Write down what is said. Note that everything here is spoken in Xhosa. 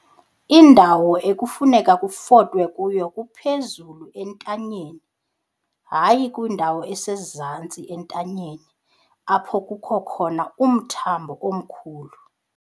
Indawo ekufuneka kutofwe kuyo kuphezulu entanyeni, hayi kwindawo esezantsi entanyeni apho kukho khona umthambo omkhulu.